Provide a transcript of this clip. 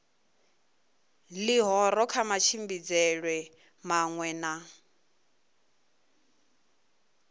ḽihoro kha matshimbidzelwe maṅwe na